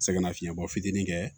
Sɛgɛnnafiɲɛbɔ fitinin kɛ